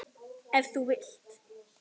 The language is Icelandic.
Ef þú vilt.